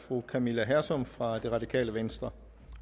fru camilla hersom fra det radikale venstre